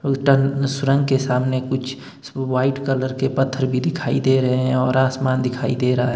अ turn सुरंग के सामने कुछ व्हाइट कलर के पत्थर भी दिखाई दे रहे हैं और आसमान दिखाई दे रहा--